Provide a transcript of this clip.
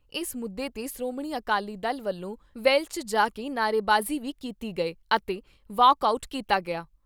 ਇਸ ਮੁੱਦੇ 'ਤੇ ਸ਼੍ਰੋਮਣੀ ਅਕਾਲੀ ਦਲ ਵੱਲੋਂ ਵੈਲ 'ਚ ਜਾ ਕੇ ਨਾਅਰੇਬਾਜ਼ੀ ਵੀ ਕੀਤੀ ਗਏ ਅਤੇ ਵਾਕ ਆਊਟ ਕੀਤਾ ਗਿਆ।